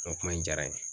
O kuma in diyara n ye